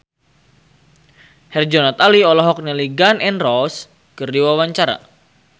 Herjunot Ali olohok ningali Gun N Roses keur diwawancara